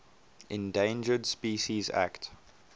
endangered species act